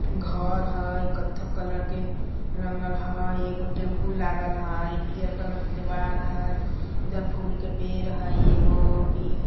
घर हय कत्थक कलर के रंगल हय एगो टेम्पूल लागल हय पियर कलर के दीवाल हय इधर फूल के पेड़ हय एगो बी --